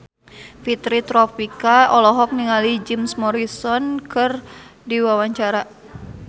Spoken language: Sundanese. Fitri Tropika olohok ningali Jim Morrison keur diwawancara